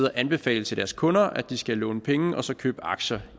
og anbefale til deres kunder at de skulle låne penge og så købe aktier